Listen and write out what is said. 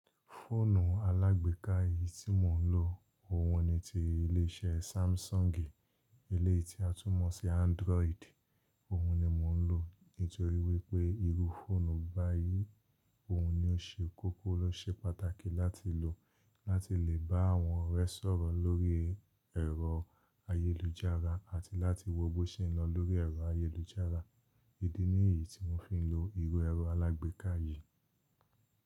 Fóònù alágbèéká yìí tí mò ń lò, òhun ni ti ilé iṣẹ́ Samsung, eleyii tí a tún mọ̀ sí Android, òhun ni mò ń lò nítorí wípé irú fóònù báyìí, òhun ni ó ṣe kókó ló ṣe pàtàkì láti lò láti lè bá àwọn ọrẹ sọ̀rọ̀ lórí ẹ̀rọ ayélujára àti láti wo bó ṣe ń lọ lórí ẹ̀rọ ayélujára. Idi nìyí tí mò fi ń lo ìru ẹ̀rọ alágbèéká yìí.